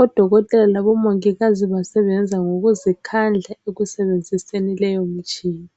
odokotela labomongikazi basebenza ngokuzikhandla ekusebenziseni leyomitshina